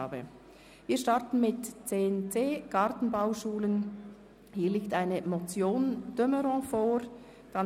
Abbau bei den Gartenbauschulen Oeschberg und Hünibach (Massnahme 48.4.1):